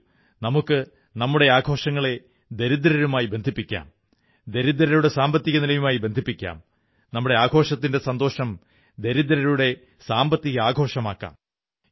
വരൂ നമുക്കു നമ്മുടെ ആഘോഷങ്ങളെ ദരിദ്രരുമായി ബന്ധിപ്പിക്കാം ദരിദ്രരുടെ സാമ്പത്തിക നിലയുമായി ബന്ധിപ്പിക്കാം നമ്മുടെ ആഘോഷത്തിന്റെ സന്തോഷം ദരിദ്രരുടെ സാമ്പത്തിക ആഘോഷമാക്കാം